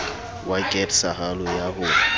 wa ket sahalo ya ho